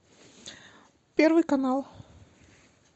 первый канал